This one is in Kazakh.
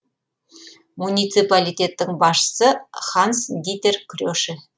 муниципалитеттің басшысы ханс дитер креше